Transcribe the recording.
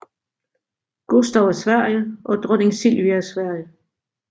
Gustav af Sverige og dronning Silvia af Sverige